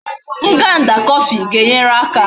Nganda coffee ga enyere aka